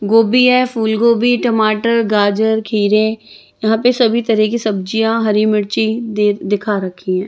गोबी है फूल गोबी टमाटर गाजर खीरे यहाँ पे सभी तरह की सब्जियाँ हरी मिर्ची दि-दिखा रखी हैं।